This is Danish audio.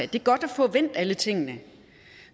det er godt at få vendt alle tingene